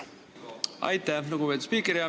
Aitäh, lugupeetud spiiker!